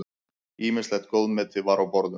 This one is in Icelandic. Ýmislegt góðmeti var á borðum.